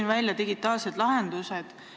Te rääkisite digitaalsetest lahendustest.